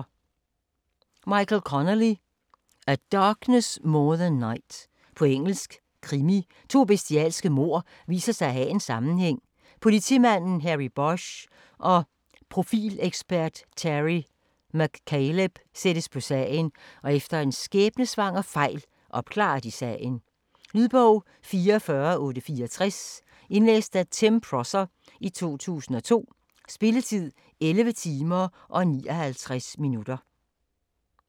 Connelly, Michael: A darkness more than night På engelsk. Krimi. To bestialske mord viser sig at have en sammenhæng. Politimanden Harry Bosch og profileksperten Terry McCaleb sættes på sagen, og efter en skæbnesvanger fejl opklarer de sagen. Lydbog 44864 Indlæst af Tim Prosser, 2002. Spilletid: 11 timer, 59 minutter.